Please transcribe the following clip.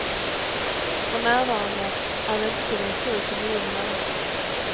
För närvarande är väntetiden sju till nio månader.